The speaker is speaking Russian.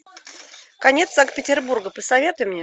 конец санкт петербурга посоветуй мне